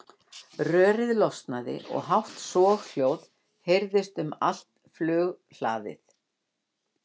Rörið losnaði og hátt soghljóðið heyrðist um allt flughlaðið.